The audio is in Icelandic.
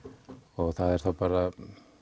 og það er þá bara